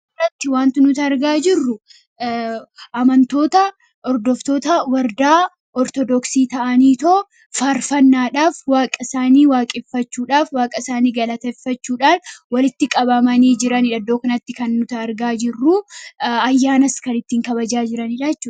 As irratti wanti nuti argaa jirru amantoota hordoftoota wlrdaa ortodoksii ta'anii too faarfannaadhaaf Waaqa isaanii waaqeffachuudhaaf, waaqa isaanii galataffachuudhaan walitti qabamanii jiraniidha. Iddoo kanatti kan nuti argaa jirru ayyaanas kan ittiin kabajaa jiraniidha.